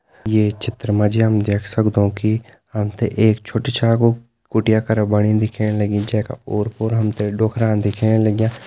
ये चित्र मा जी हम देख सकदु की हम त एक छोटी छागो कुटिया करं बणी दिखेण लगीं जैका ओर पोर हम त डोकरा दिखेण लग्यां।